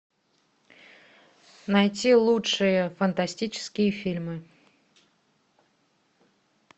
найти лучшие фантастические фильмы